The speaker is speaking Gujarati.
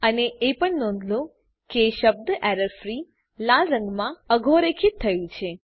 અને એ પણ નોંધ લો કે શબ્દ એરરફ્રી લાલ રંગમાં અધોરેખિત થયું છે